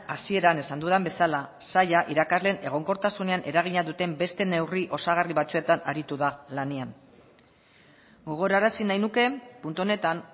hasieran esan dudan bezala saila irakasleen egonkortasunean eragina duten beste neurri osagarri batzuetan aritu da lanean gogorarazi nahi nuke puntu honetan